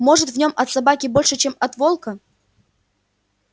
может в нём от собаки больше чем от волка